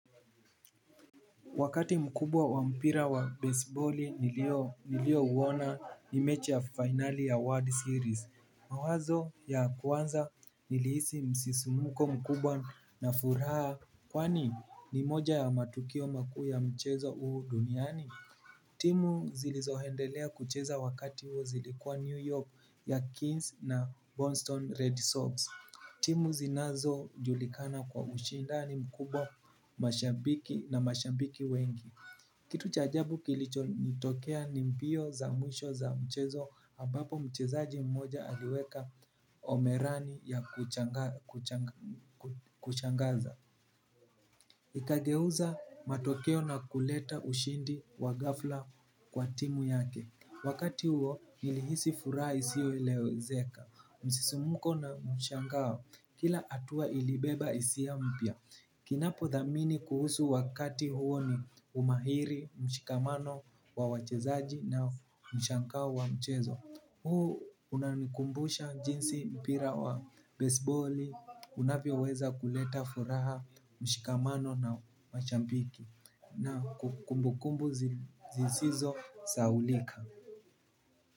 Wakati mkubwa wa mpira wa baseballi nilio uwona ni mechi ya finale ya World Series. Mawazo ya kwanza nilihisi msisimuko mkubwa na furaha kwani ni moja ya matukio makuu ya mchezo huu duniani. Timu zilizoendelea kucheza wakati uo zilikuwa New York yaKeynes na Boston Red Sox. Timu zinazo julikana kwa ushindani mkubwa mashabiki na mashabiki wengi. Kitu cha ajabu kilicho nitokea ni mbio za mwisho za mchezo ambapo mchezaji mmoja aliweka omerani ya kushangaza. Ikageuza matokeo na kuleta ushindi wa gafla kwa timu yake. Wakati huo nilihisi furaha isioelezeka. Msisumuko na mshangao kila hatua ilibeba isia mpya. Kinapo thamini kuhusu wakati huo ni umahiri mshikamano wa wachezaji na mshangao wa mchezo huo unanikumbusha jinsi mpira wa baseballi unavyo weza kuleta furaha mshikamano na mashambiki. Na kumbukumbu zisizo sahaulika.